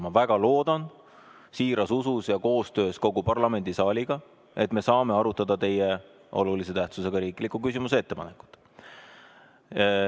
Ma väga loodan, siiras usus ja koostöös kogu parlamendisaaliga, et me saame arutada teie olulise tähtsusega riikliku küsimuse ettepanekut.